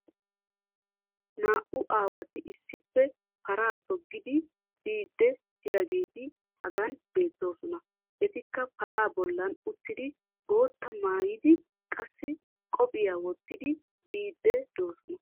Naa'u aawati issippe paraa toggidi biidi diyageeti hagan beetoosona. Etikka paraa bollan uttidi bootaa maayidi qassi koppiyaa wottidi biidi doosona.